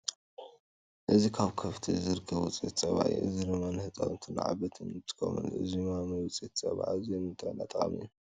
እዚ ካብ ከፍቲ ዝርከብ ውፅኢት ፀባ እዩ። እዚ ድማ ንህፃውንትን ንዓበይትን ንጥቀመሉ። እዚ ማሚ ውፅኢት ፀባ ኣዝዩ ንጥዕናና ጠቃሚ እዩ።